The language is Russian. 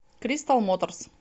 кристал моторс